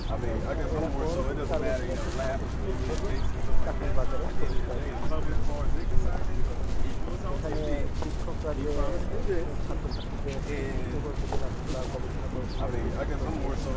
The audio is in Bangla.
ওরা কোনরকম চার বছরে একটা satificat দেবে চাকরির ব্যাপারে পরিচয় দিচ্ছে কি তোমরা চাকরি করো এখানে শিক্ষকরা যে ছাত্র-ছাত্রীদের উদ্বুদ্ধ গবেষণা করো তোমরা যে শিক্ষা দিয়ে